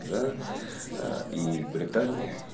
да и британии